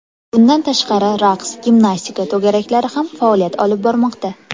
Bundan tashqari raqs, gimnastika to‘garaklari ham faoliyat olib bormoqda.